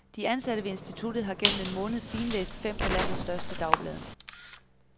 De ansatte ved instituttet har gennem en måned finlæst fem af landets største dagblade.